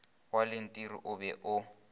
wa lentiri o be o